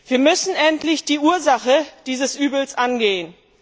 Wir müssen endlich die Ursache dieses Übels angehen.